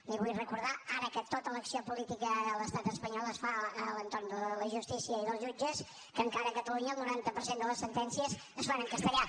li vull recordar ara que tota l’acció política a l’estat espanyol es fa a l’entorn de la justícia i dels jutges que encara a catalunya el noranta per cent de les sentències es fan en castellà